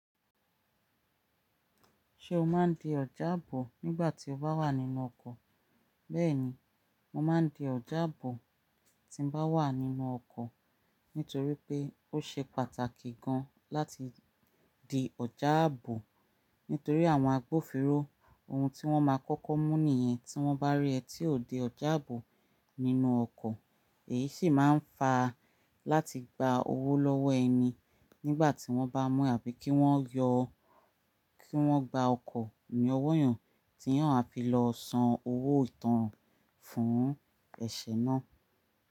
Ṣé o máa ń di ọ̀já ààbò nígbà tí o bá wà nínú ọkọ̀? Bẹ́ẹ̀ni, mo máa ń di ọ̀já ààbò tí n bá wà nínú ọkọ̀ nítorí pé ó ṣe pàtàkì gan láti di ọ̀já ààbò nítorí àwọn agbófinró ohun tí wọ́n máa kọ́kọ́ mú nìyẹn tí wọ́n bá rí ẹ tí ò di ọ̀já ààbò nínú ọkọ̀. Eyi si máa n fa láti gba owo lọ́wọ́ ẹni nígbà ti wọn ba mu yàn, àbí ki wọn yọ, ki wọn gba ọkọ ni ọ́wọ́ yan ti yàn a fi lọ san owo ìtanràn fún ẹṣẹ náà.